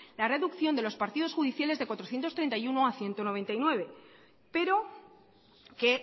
la reducción de los partidos judiciales de cuatrocientos treinta y uno a ciento noventa y nueve pero que